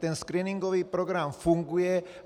Ten screeningový program funguje.